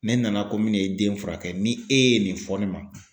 Ne nana ko mi n'e den furakɛ ni e ye nin fɔ ne ma